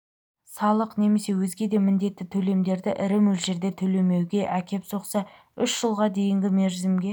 салық немесе өзге де міндетті төлемдерді ірі мөлшерде төлемеуге әкеп соқса үш жылға дейінгі мерзімге